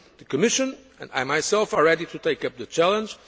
good. The Commission and I myself are ready to take up the challenge.